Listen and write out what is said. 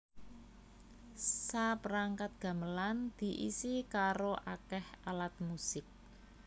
Saperangkat gamelan diisi karo akéh alat musik